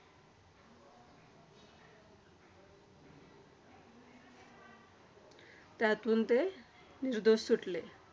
त्यातून ते निर्दोष सुटले.